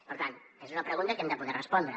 per tant aquesta és una pregunta que hem de poder respondre